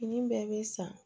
Fini bɛɛ bɛ san